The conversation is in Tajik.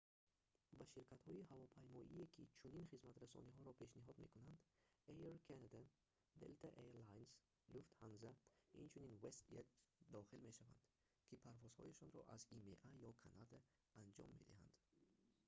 ба ширкатҳои ҳавопаймоие ки чунин хизматрасониҳоро пешниҳод мекунанд air canada delta air lines lufthansa инчунин westjet дохил мешаванд ки парвозҳояшонро аз има ё канада анҷом медиҳанд